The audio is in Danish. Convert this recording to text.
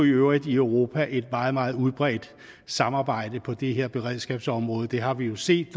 i øvrigt i europa et meget meget udbredt samarbejde på det her beredskabsområde det har vi jo set i